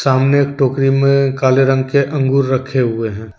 सामने एक टोकरी में काले रंग के अंगूर रखें हुये हैं।